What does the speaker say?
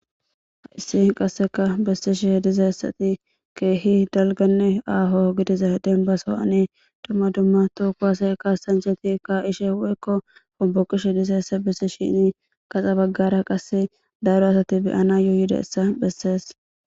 Hayssi qasseka bessishe dizayssati keehi dalgganne aaho gidiza denbba sohowani dumma dumma toho kuwase kasanchchati ka'ishe woykko homboqishe dizayssa bissishini gaxa baggara qasse daro asati beyanayo yidayssa bessees.